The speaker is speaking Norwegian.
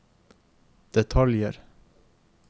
detaljer